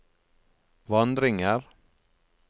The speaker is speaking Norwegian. vandringer